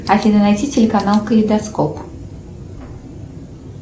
афина найти телеканал калейдоскоп